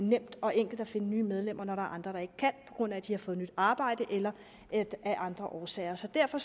nemt og enkelt at finde nye medlemmer når der er andre der ikke kan på grund af at de har fået nyt arbejde eller af andre årsager så derfor